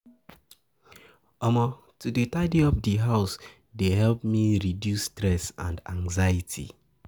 To dey tidy up di house dey help me reduce stress and anxiety.